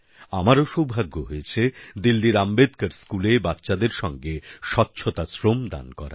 আমারও সৌভাগ্য হয়েছে দিল্লির আম্বেদকার স্কুলে বাচ্চাদের সঙ্গে স্বচ্ছতা শ্রম দান করার